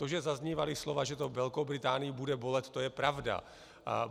To, že zaznívala slova, že to Velkou Británii bude bolet, to je pravda.